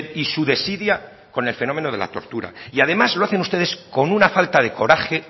y su desidia con el fenómeno de la tortura y además lo hacen ustedes con una falta de coraje